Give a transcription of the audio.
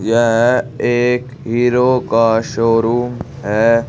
यह एक हीरो का शोरूम है।